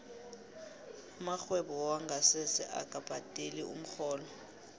amarhwebo wongasese akabhadeli umrholo